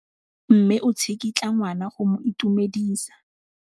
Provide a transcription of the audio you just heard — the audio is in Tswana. Mme o tsikitla ngwana go mo itumedisa.